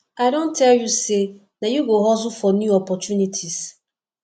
i don tell you sey na you go hustle for new opportunities